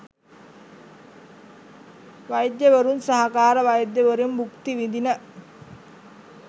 වෛද්‍යවරුන් සහකාර වෛද්‍යවරුන් භුක්ති විදින